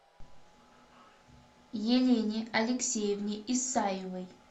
елене алексеевне исаевой